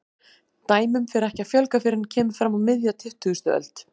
Dæmum fer ekki að fjölga fyrr en kemur fram á miðja tuttugustu öld.